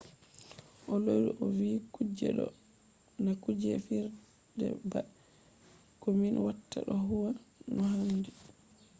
o lori o vi kuje do na kuje fijirde ba. ko min watta do huwa no handi.